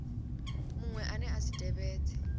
muṅwe ane a si tevhedze